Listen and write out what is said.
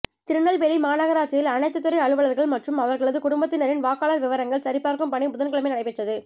திருநெல்வேலி மாநகராட்சியில் அனைத்துத்துறை அலுவலா்கள் மற்றும் அவா்களது குடும்பத்தினரின் வாக்காளா் விவரங்கள் சரிபாா்க்கும் பணி புதன்கிழமை நடைபெற்றது